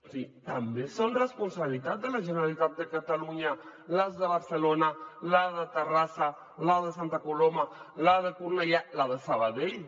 o sigui també són responsabilitat de la generalitat de catalunya les de barcelona la de terrassa la de santa coloma la de cornellà la de sabadell